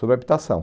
Sobre habitação.